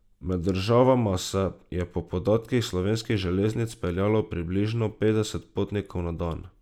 Med državama se je po podatkih Slovenskih železnic peljalo približno petdeset potnikov na dan.